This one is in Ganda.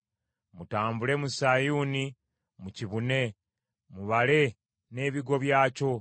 Mutambule mu Sayuuni, mukibune; mubale n’ebigo byakyo.